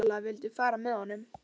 Sóla vildi fara með honum.